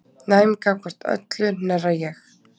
Næm gagnvart öllu hnerra ég.